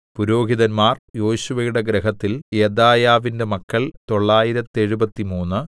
പുരോഹിതന്മാർ യേശുവയുടെ ഗൃഹത്തിൽ യെദായാവിന്റെ മക്കൾ തൊള്ളായിരത്തെഴുപത്തിമൂന്ന്